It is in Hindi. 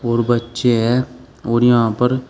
और बच्चे हैं और यहां पर--